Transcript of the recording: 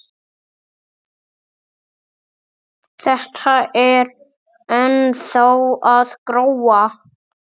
Þetta er ennþá að gróa.